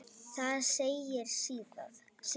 Þar segir síðan